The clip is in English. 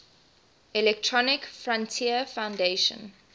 electronic frontier foundation